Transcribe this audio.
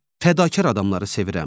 Fədakar adamları sevirəm.